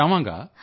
ਹਾਂਜੀ ਸਰ